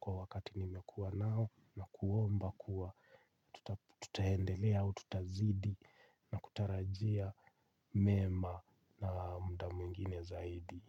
kwa wakati nimekuwa nao na kuomba kuwa tutaendelea au tutazidi na kutarajia mema na muda mwingine zaidi.